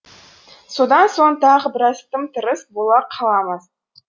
содан соң тағы біраз тым тырыс бола қаламыз